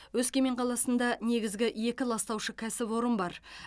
өскемен қаласында негізгі екі ластаушы кәсіпорын бар